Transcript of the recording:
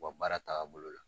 U ka baara taabolo la.